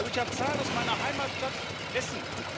Ich habe Zahlen aus meiner Heimatstadt Essen.